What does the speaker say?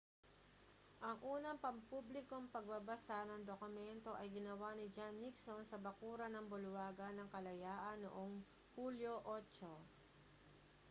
ang unang pampublikong pagbabasa ng dokumento ay ginawa ni john nixon sa bakuran ng bulwagan ng kalayaan noong hulyo 8